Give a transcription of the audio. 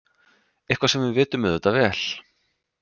Eitthvað sem við vitum auðvitað vel.